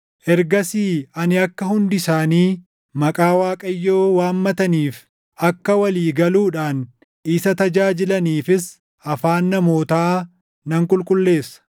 “Ergasii ani akka hundi isaanii // maqaa Waaqayyoo waammataniif, akka walii galuudhaan isa tajaajilaniifis afaan namootaa nan qulqulleessa.